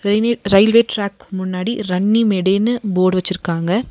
Railway railway track முன்னாடி ரண்ணிமேடுனு board வச்சிருக்காங்க.